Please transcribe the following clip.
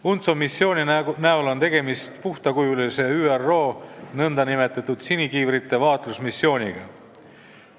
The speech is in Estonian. UNTSO missiooni näol on tegemist puhtakujulise ÜRO nn sinikiivrite vaatlusmissiooniga.